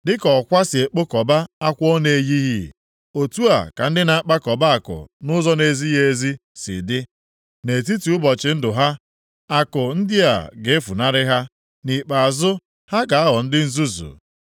Dịka ọkwa si ekpokọba akwa ọ na-eyighị, otu a ka ndị na-akpakọba akụ nʼụzọ na-ezighị ezi dị. Nʼetiti ụbọchị ndụ ha, akụ ndị a ga-efunarị ha. Nʼikpeazụ ha ga-aghọ ndị nzuzu.